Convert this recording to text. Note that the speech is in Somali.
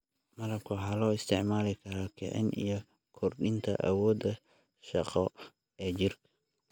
Malabka waxaa loo isticmaali karaa kicin iyo kordhinta awoodda shaqo ee jirka.